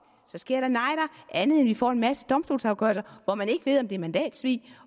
andet end at vi får en masse domstolsafgørelser hvor man ikke ved om det er mandatsvig